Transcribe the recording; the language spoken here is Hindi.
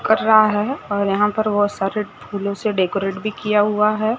कटरा है और यहां पर बहोत सारे फूलों से डेकोरेट भी किया हुआ है।